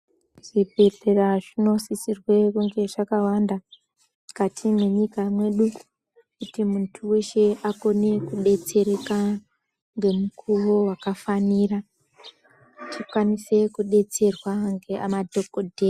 Zvibhedhlera zvinosisirwe kunge zvakawanda mukati mwenyika yedu kuti muntu weshe akome kubetsereka ngemukuwo walafanira tikwanise kudetserwa ngemadhokodheya.